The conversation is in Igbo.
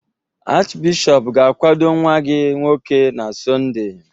Achịbishọp ga-akwado nwa gị nwoke na Sọnde?